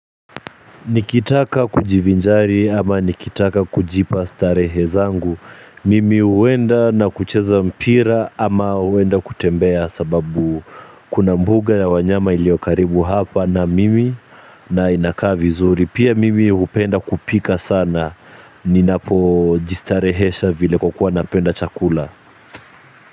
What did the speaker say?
Nikitaka kujivinjari ama nikitaka kujipa starehe zangu. Mimi huenda na kucheza mpira ama huenda kutembea sababu kuna mbuga ya wanyama ilio karibu hapa na mimi na inakaa vizuri. Pia mimi hupenda kupika sana. Ninapojistarehesha vile kwa kuwa napenda chakula.